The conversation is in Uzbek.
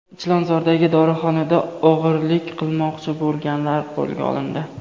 Chilonzordagi dorixonada o‘g‘rilik qilmoqchi bo‘lganlar qo‘lga olindi.